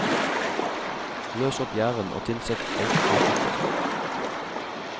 Løs opp gjæren og tilsett egg og sukker.